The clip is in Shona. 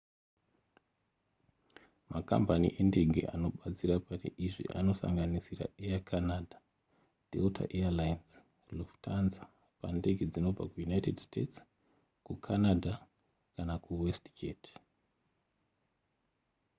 makambani endege anobatsira pane izvi anosanganisira air canada delta air lines lufthansa pandege dzinobva kuunited states kucanada kana kuwestjet